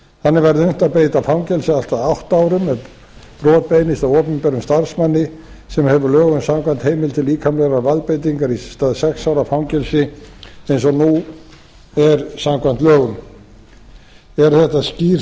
þannig verður unnt að beita fangelsi allt að átta árum ef brot beinist að opinberum starfsmanni sem hefur lögum samkvæmt heimild til líkamlegrar valdbeitingar í stað sex ára fangelsis eins og nú er samkvæmt lögum eru þetta skýr